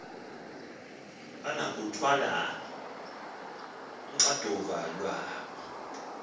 banokuluthwala uxanduva lwabo